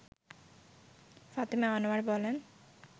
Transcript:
ফাতেমা আনোয়ার বলেন